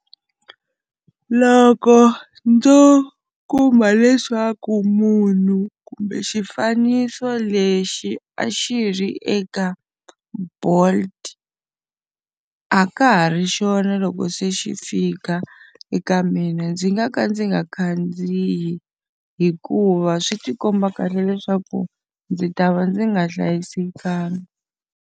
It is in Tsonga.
Loko ndzo kuma leswaku munhu kumbe xifaniso lexi a xi ri eka Bolt a ka ha ri xona loko se xi fika eka mina, ndzi nga ka ndzi nga khandziyi hikuva swi ti komba kahle leswaku ndzi ta va ndzi nga hlayisekanga.